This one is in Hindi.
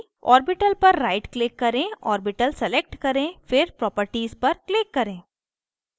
orbital पर right click करें orbital select करें फिर properties पर click करें